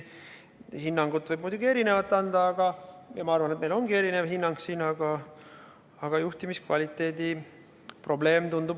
Hinnanguid võib muidugi anda erinevaid, ja ma arvan, et meil ongi siin erinev hinnang, aga mulle tundub seal olevat juhtimiskvaliteedi probleem.